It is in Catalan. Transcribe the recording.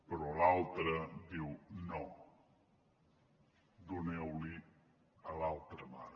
però l’altra diu no doneu lo a l’altra mare